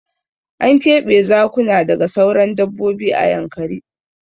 Ana keɓe Zakuna daga sauran dabbobi a Yankari.